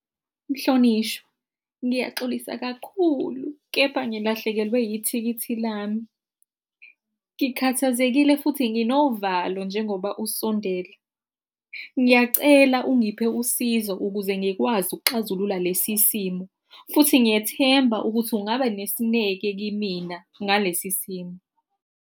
Mhlonishwa, ngiyaxolisa kakhulu kepha ngilahlekelwe yithikithi lami. Ngikhathazekile futhi nginovalo njengoba usondele. Ngiyacela ungiphe usizo ukuze ngikwazi ukuxazulula lesi simo, futhi ngiyethemba ukuthi ungaba nesineke kimina ngalesi simo.